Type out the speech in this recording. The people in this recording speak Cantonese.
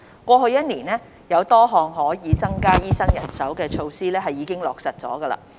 過去一年多，有多項可以增加醫生人手的措施已經落實。